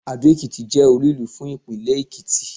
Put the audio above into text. Adó-Ekìtì jẹ́ olú ìlú fún ìpínlẹ̀ Èkìtì